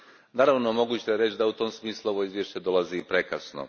Naravno, moguće je reći da u tom smislu ovo izvješće dolazi prekasno.